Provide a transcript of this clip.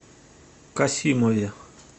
касимове